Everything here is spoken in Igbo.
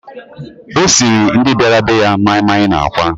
O siiri ndị bịara be ya maịmaị na àkwá.